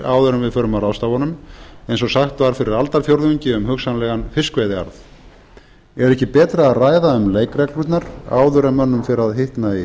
áður en við förum að ráðstafa honum eins og sagt var fyrir aldarfjórðungi um hugsanlegan fiskveiðiarð er ekki betra að ræða um leikreglurnar áður en mönnum fer að hitna í